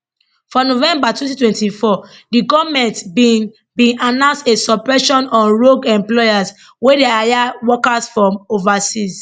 for november 2024 di goment bin bin announce a suppression on rogue employers wey dey hire workers from overseas